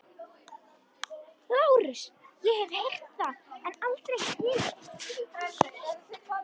LÁRUS: Ég hef heyrt það en aldrei skilið.